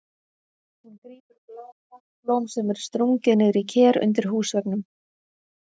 Hún grípur blá plastblóm sem er stungið niður í ker undir húsveggnum.